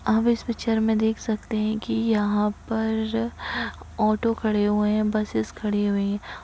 हम इस पिक्चर मे देख सकते है की यहा पर ऑटो खड़े हुए है। बसेस खड़ी हुई